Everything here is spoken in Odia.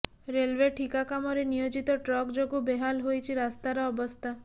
ରେଲୱେ ଠିକା କାମରେ ନିୟୋଜିତ ଟ୍ରକ ଯୋଗୁଁ ବେହାଲ ହୋଇଛି ରାସ୍ତାର ଅବସ୍ଥା